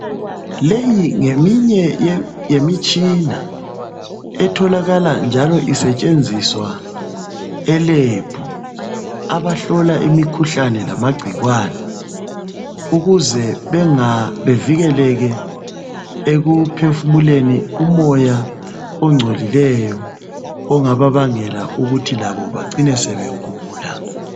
Leyi ngemunye yemitshina etholakala njalo isetshenziswa elebhu, amahlola imikhuhlane njalo amangcikwane ukuze bevikelele ekuphefumuleni umoya angcolileyo ongababangela ukuthi labo becine begula.